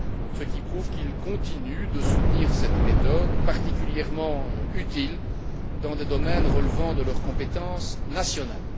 ce qui prouve qu'ils continuent de soutenir cette méthode particulièrement utile dans des domaines relevant de leurs compétences nationales.